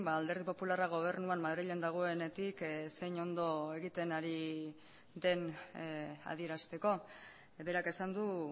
alderdi popularra gobernuan madrilen dagoenetik zein ondo egiten ari den adierazteko berak esan du